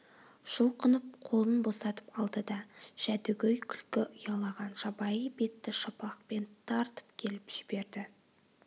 жұлқынып қолын босатып алды да жәдігөй күлкі ұялаған жабайы бетті шапалақпен тартып келіп жіберді